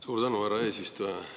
Suur tänu, härra eesistuja!